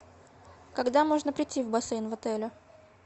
когда можно прийти в бассейн в отеле